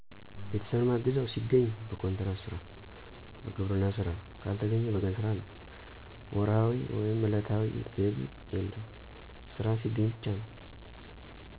ቤተሰብን ማግዘው ሲገኝ በኮንትራት ስራ፣ በግብርና ስራ ካልተገኘ በቀን ስራ ነው። ወርሀዊ/ዕለታዊ ገቢ የለም ስራ ሲገኝ ብቻ ነው።